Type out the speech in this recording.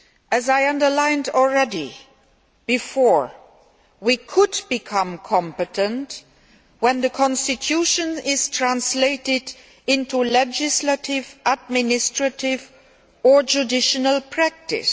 As I have already underlined, we could become competent when the constitution is translated into legislative, administrative or judicial practice.